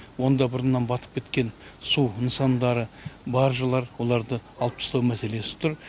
онда бұрыннан батып кеткен су нысандары баржылар оларды алып тастау мәселесі тұр